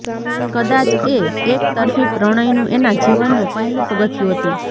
કદાચ એ એકતરફી પ્રણય નું એના જીવન નું પહેલું પગથિયું હતું